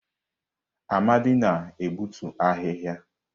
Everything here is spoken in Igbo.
Amadi na-egbutu ahịhịa.